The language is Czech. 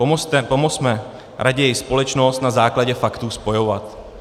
Pomozme raději společnost na základě faktů spojovat.